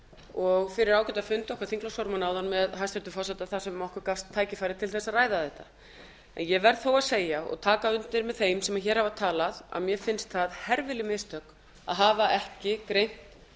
og fyrir ágætan fund okkar þingflokksformanna áðan með hæstvirtum forseta þar sem okkur gafst tækifæri til þess að ræða þetta en ég verð þó að segja og taka undir með þeim sem hér hafa talað að mér finnst það herfileg mistök að hafa ekki greint